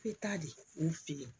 Bɛ taa de u fɛ yen